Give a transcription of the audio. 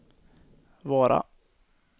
Vara